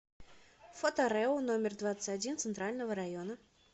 фото рэу номер двадцать один центрального района